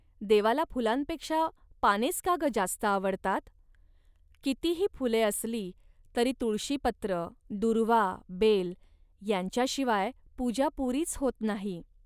देवाला फुलांपेक्षा पानेच का, ग, जास्त आवडतात. कितीही फुले असली, तरी तुळशीपत्र, दूर्वा, बेल यांच्याशिवाय पूजा पुरीच होत नाही